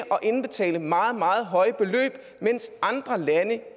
indbetale meget meget høje beløb mens andre lande